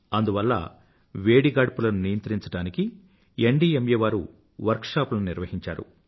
అందువల్ల వేడి గాడ్పులను నియంత్రించడానికి ఎన్డీఎంఏ వారు వర్క్ షాప్ లను నిర్వహించారు